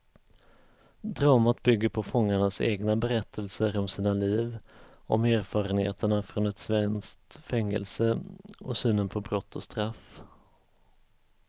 Dramat bygger på fångarnas egna berättelser om sina liv, om erfarenheterna från ett svenskt fängelse och synen på brott och straff.